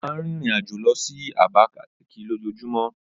Ó máa ń rìnrìn-àjò lọ sí Abakaliki lójoojúmọ́.